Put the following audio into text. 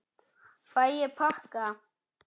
Fæ ég pakka?